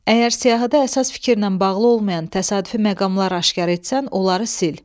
Əgər siyahıda əsas fikirlə bağlı olmayan təsadüfi məqamlar aşkar etsən, onları sil.